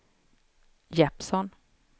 Jeppsson